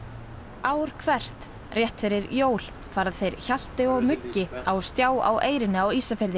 ár hvert rétt fyrir jól fara þeir Hjalti og Muggi á stjá á Eyrinni á Ísafirði